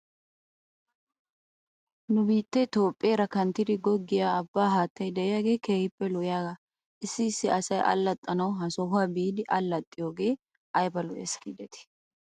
Nu biittee toophpheera kanttidi goggiyaa abbaa haattay de'iyaagee keehippe lo'iyaagaa issi issi asay allaxxanaw he sohuwaa biidi allaxxiyoogee ayba lo'es giidetii?